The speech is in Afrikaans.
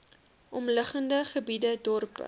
omliggende gebiede dorpe